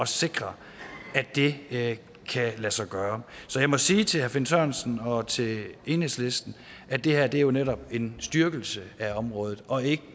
sikre at det kan lade sig gøre så jeg må sige til herre finn sørensen og til enhedslisten at det her jo netop er en styrkelse af området og ikke